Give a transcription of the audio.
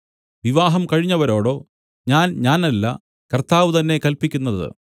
വിവാഹം കഴിഞ്ഞവരോടോ ഞാൻഞാനല്ല കർത്താവ് തന്നെ കല്പിക്കുന്നത്